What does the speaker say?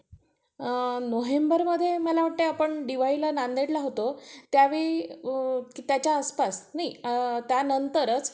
अ नोव्हेंबरमध्ये मला वाटतंय आपण दिवाळीला नांदेडला होतो. त्यावेळी का त्याच्या आसपास त्या नंतरच